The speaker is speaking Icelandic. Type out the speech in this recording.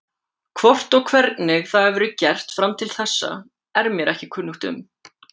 Hvort og hvernig það hefur verið gert fram til þessa er mér ekki kunnugt um.